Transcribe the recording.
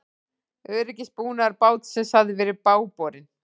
Öryggisbúnaður bátsins hafi verið bágborinn